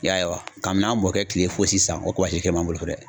I y'a ye wa kabi n'an mɔkɛ kile fɔ sisan o kabasi kelen b'an bolo so dɛ